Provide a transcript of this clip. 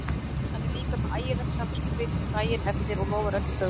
Hann er líka með ægilegt samviskubit daginn eftir og lofar öllu fögru.